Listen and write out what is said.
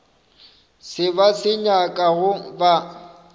se ba se nyakago ba